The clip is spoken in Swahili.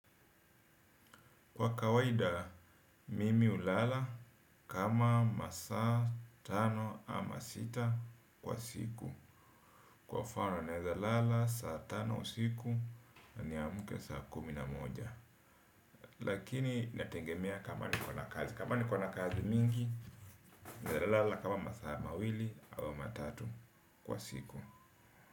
Kwa kawaida, mimi hulala kama masaa tano ama sita kwa siku. Kwa mfano naweza lala saa tano usiku na ni amke saa kumi na moja. Lakini inategemea kama niko na kazi. Kama niko na kazi mingi, naweza lala kama masaa mawili au matatu kwa siku.